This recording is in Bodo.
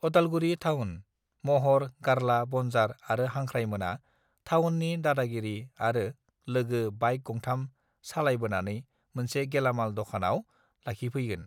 उदालगुरि थावन महर गारला बनजार आरो हांख्राय मोना थावननि दादागिरि आरो लोगो बाइक गंथाम सालायबोनानै मोनसे गेलामाल दकानाव लाखिफैगोन